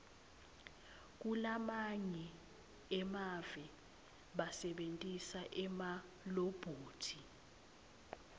kulamanye emave basebentisa emalobhothi